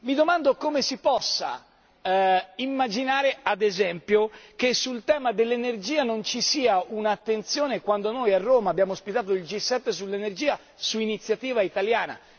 Mi domando come si possa immaginare, ad esempio, che sul tema dell'energia non ci sia un'attenzione, quando noi a Roma abbiamo ospitato il G7 sull'energia su iniziativa italiana.